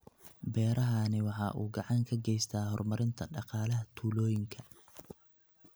Beerahani waxa uu gacan ka geystaa horumarinta dhaqaalaha tuulooyinka.